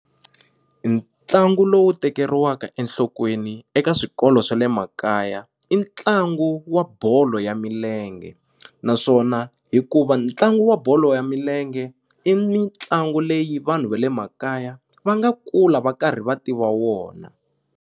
Ntlangu lowu tekeriwaka enhlokweni eka swikolo swa le makaya i ntlangu wa bolo ya milenge naswona hikuva ntlangu wa bolo ya milenge i mitlangu leyi vanhu va le makaya va nga kula va karhi va tiva wona.